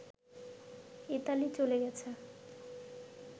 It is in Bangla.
ইতালি চলে গেছে